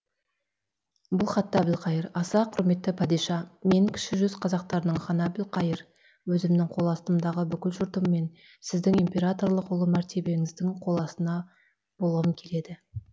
бұл хатта әбілқайыр аса құрметті падиша мен кіші жүз қазақтарылың ханы әбілқайыр өзімнің қол астымдағы бүкіл жұртыммен сіздің императорлық ұлы мәртебеңіздің қол астында болғым келеді